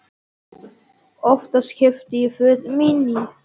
Oftast keypti ég fötin mín í